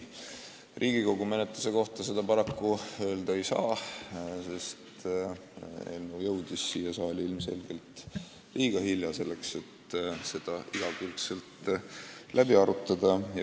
Riigikogu menetluse kohta seda paraku öelda ei saa, sest eelnõu jõudis siia saali ilmselgelt liiga hilja selleks, et jõuda seda igakülgselt läbi arutada.